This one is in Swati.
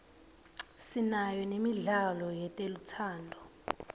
sinayo nemidlalo yetelutsando